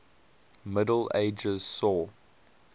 middle ages saw